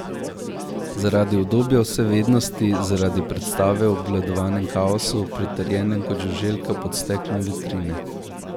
Zaradi udobja vsevednosti, zaradi predstave o obvladanem kaosu, pritrjenem kot žuželka pod steklom vitrine.